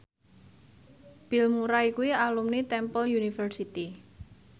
Bill Murray kuwi alumni Temple University